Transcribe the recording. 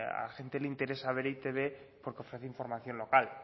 a gente le interesa e i te be porque ofrece información local